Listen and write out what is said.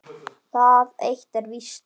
Það eitt er víst.